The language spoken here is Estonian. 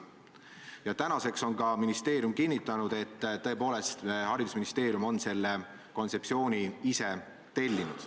Tänaseks on ka ministeerium kinnitanud, et tõepoolest, haridusministeerium on selle kontseptsiooni ise tellinud.